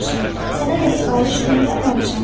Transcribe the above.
Sənə də sifariş göndərməmişəm.